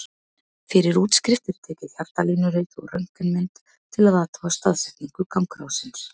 Fyrir útskrift er tekið hjartalínurit og röntgenmynd til að athuga staðsetningu gangráðsins.